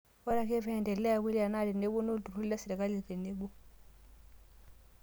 Pooki ake pee eendelea wilaya naa tenepuoni lturrur le sirkali tenebo